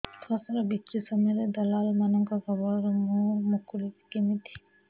ଫସଲ ବିକ୍ରୀ ସମୟରେ ଦଲାଲ୍ ମାନଙ୍କ କବଳରୁ ମୁଁ ମୁକୁଳିଵି କେମିତି